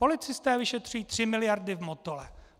Policisté vyšetřují tři miliardy v Motole.